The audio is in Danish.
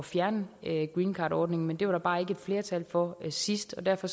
fjerne greencardordningen men det var der bare ikke flertal for sidst og derfor